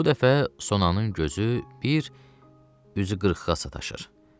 Bu dəfə sonanın gözü bir üzü qırxığa sataşır.